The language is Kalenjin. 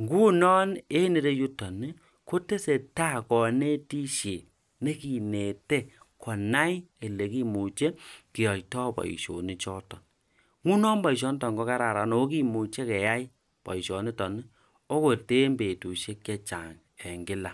ngunon enreyuton kotesetai kanetisiet nekinete konai olekimuche kiyaitoi boisionik chootok. nguno boisionoton kokararan akokimuche keyai boisioniton okoten betusiek chechang' eng' kila.